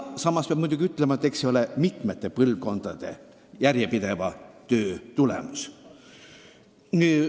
Samas peab muidugi arvestama, et eks see ole mitme põlvkonna järjepideva töö tulemus.